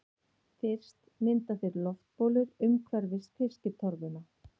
Fyrst mynda þeir loftbólur umhverfis fiskitorfuna.